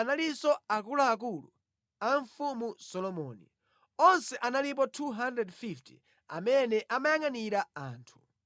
Amenewa ndiwo anali akuluakulu oyangʼanira ntchito za mfumu Solomoni. Onse amene ankayangʼanira anthu analipo 250.